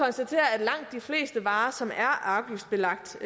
vi fleste varer som er afgiftsbelagt